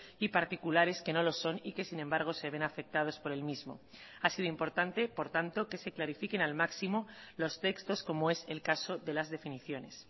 y particulares que no lo son y que sin embargo se ven afectados por el mismo ha sido importante por tanto que se clarifiquen al máximo los textos como es el caso de las definiciones